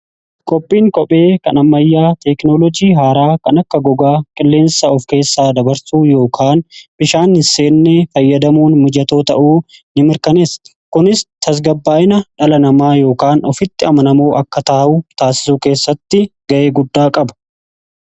Qophiin qophee kan ammayyaa teeknolojii haaraa kan akka gogaa qilleensaa of keessaa dabarsuu yookaan bishaan hiseennee fayyadamuun mijatoo ta'uu in mirkanessa kunis tasgabbaa'ina dhala namaa yookaan ofitti amanamoo akka taa'u taasisuu keessatti ga'e guddaa qaba.